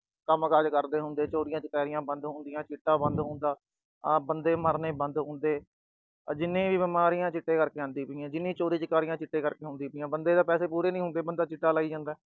ਕੰਮਕਾਜ ਕਰਦੇ ਹੁੰਦੇ, ਚੋਰੀਆਂ ਚਕਾਰੀਆਂ ਬੰਦ ਹੁੰਦੀਆਂ, ਚਿੱਟਾ ਬੰਦ ਹੁੰਦਾ, ਆਹ ਬੰਦੇ ਮਰਨੇ ਬੰਦ ਹੁੰਦੇ। ਆ ਜਿੰਨੀਆਂ ਵੀ ਬਿਮਾਰੀਆਂ ਚਿੱਟੇ ਕਰਕੇ ਆਉਂਦੀਆਂ ਪਈਆਂ, ਆਹ ਜਿੰਨੀਆਂ ਵੀ ਚੋਰੀਆਂ ਚਕਾਰੀਆਂ, ਚਿੱਟੇ ਕਰਕੇ ਹੁੰਦੀਆਂ ਪਈਆਂ। ਬੰਦੇ ਦੇ ਪੈਸੇ ਪੂਰੇ ਨੀ ਹੁੰਦੇ, ਬੰਦਾ ਚਿੱਟਾ ਲਾਈ ਜਾਂਦਾ।